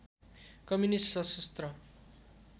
communist सशस्त्र